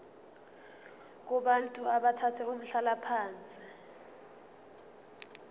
kubantu abathathe umhlalaphansi